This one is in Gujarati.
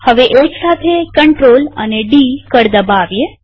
હવે એકસાથે ctrl અને ડી કળ દબાવીએ